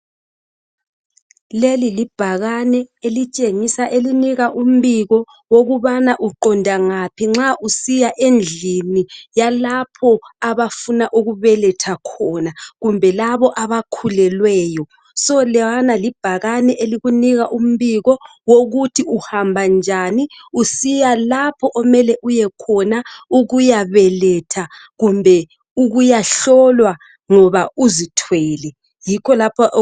Leli libhakani elitshengisa elinika umbiko ngokubana uqonda ngaphi nxa usiya endlini yalapho abafuna ukubeletha khona kumbe labo abakhulelweyo so lelana libhakani elikunika umbiko wokuthi uhamba njani usiya lapha okumele uyekhona ukuyabeletha kumbe ukuyahlolwa ngoba uzithwele.